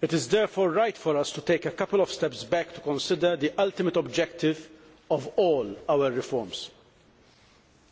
It is therefore right for us to take a couple of steps back to consider the ultimate objective of all our reforms